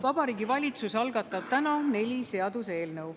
Vabariigi Valitsus algatab täna neli seaduseelnõu.